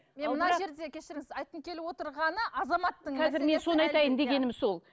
мен мына жерде кешіріңіз айтқым келіп отырғаны азаматтың мәселесі қазір мен соны айтайын дегенім сол